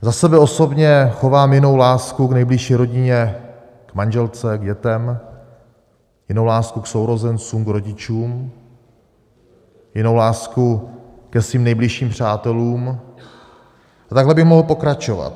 Za sebe osobně chovám jinou lásku k nejbližší rodině, k manželce, k dětem, jinou lásku k sourozencům, k rodičům, jinou lásku ke svým nejbližším přátelům a takhle bych mohl pokračovat.